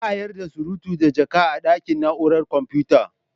Ba a yarda da surutu da jaka a ɗakin na'urar computa.